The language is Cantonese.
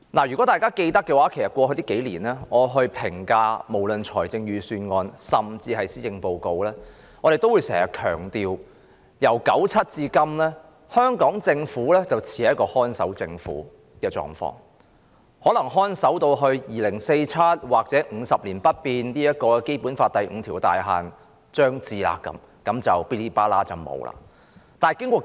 如果大家記得，我在過去數年評價預算案甚至施政報告時，也經常強調由1997年至今，香港政府似是屬於"看守政府"的狀況，可能會看守至2047年或《基本法》第五條有關50年不變的"大限"將至時，便會完結。